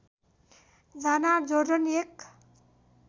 जाना जोर्डन एक